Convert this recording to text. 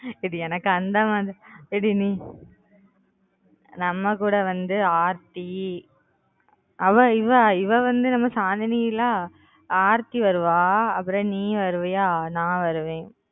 ஏன்டி எனக்கு அந்த மாதிரி லாம் ஏன்டி நீ நம்ம கூட வந்து aarthi அவ இவ இவ வந்து நம்ம Chandni ல aarthi வருவா அப்புறம் நீ வருவியா அப்புறம் நான் வருவேன்